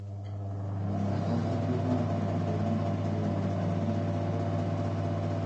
àmì àkọ́kọ́ tó máa ń fi hàn pé oyún ti dúró ni àìrí nǹkan oṣù